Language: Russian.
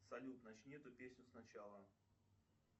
салют начни эту песню сначала